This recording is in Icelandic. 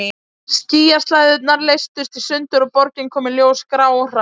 Skýjaslæðurnar leystust í sundur og borgin kom í ljós grá og hrá.